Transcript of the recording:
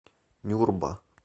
нюрба